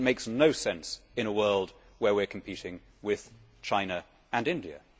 It makes no sense in a world where we are competing with China and India.